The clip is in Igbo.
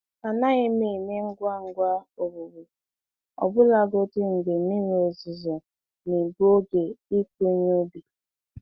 Anaghị m eme ngwa ngwa owuwe, ọbụlagodi mgbe mmiri ozuzo na-egbu oge ịkụ ihe ubi.